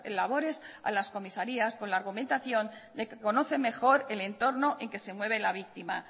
labores a las comisarías con la argumentación de que conocen mejor el entorno en que se mueve la víctima